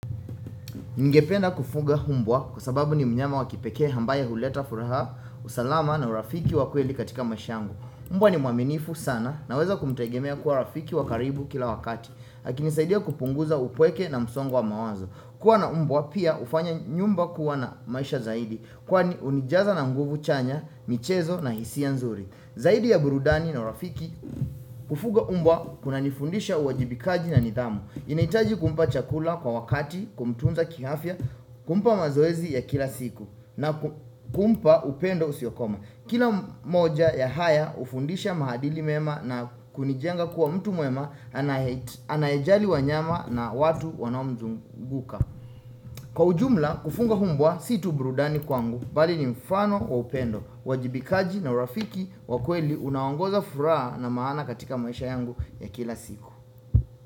Ningependa kufuga mbwa kwa sababu ni mnyama wa kipekee ambaye huleta furaha usalama na urafiki wa kweli katika maisha yangu. Umbwa ni mwaminifu sana naweza kumtegemea kuwa rafiki wa karibu kila wakati. Akinisaidia kupunguza upweke na msongo wa mawazo. Kuwa na mbwa pia hufanya nyumba kuwa na maisha zaidi. Kwani hunijaza na nguvu chanya, michezo na hisia nzuri. Zaidi ya burudani na urafiki, kufuga mbwa kunanifundisha uwajibikaji na nidhamu. Ninahitaji kumpa chakula kwa wakati kumtunza kiafya, kumpa mazoezi ya kila siku na kumpa upendo usiokoma. Kila moja ya haya hufundisha mahadili mema na kunijenga kuwa mtu mwema anayejali wanyama na watu wanaomzunguka. Kwa ujumla, kufuga mbwa si tu burudani kwangu, bali ni mfano wa upendo, uwajibikaji na urafiki wa kweli unaongoza furaha na maana katika maisha yangu ya kila siku.